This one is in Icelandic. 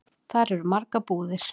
Þar eru margar búðir.